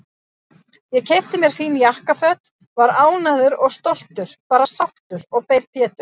Ég keypti mér fín jakkaföt, var ánægður og stoltur, bara sáttur, og beið Péturs.